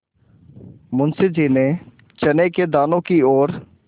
मुंशी जी ने चने के दानों की ओर